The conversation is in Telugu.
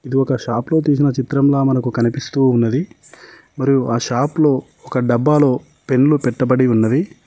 ఇది ఒక షాపులో తీసిన చిత్రంలా మనకు కనిపిస్తూ ఉన్నది మరియు ఆ షాప్ లో ఒక డబ్బాలో పెన్లు పెట్టబడి ఉన్నవి.